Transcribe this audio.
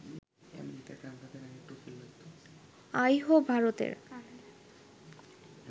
আইহো, ভারতের